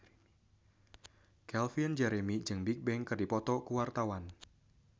Calvin Jeremy jeung Bigbang keur dipoto ku wartawan